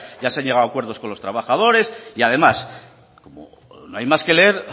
ya se han llegado a acuerdos con los trabajadores y además no hay más que leer